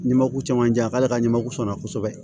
Ni mako caman jan k'ale ka ɲamaku sɔnna kosɛbɛ